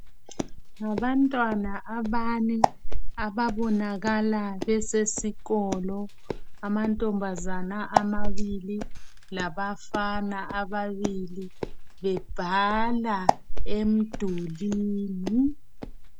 Ngabantwana abane ababonakala besesikolo , amantombazana amabili labafana ababili bebhala emdulini.